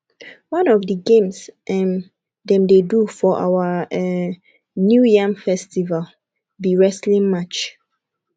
one of the games um dem dey do for our um new yam festival be wrestling match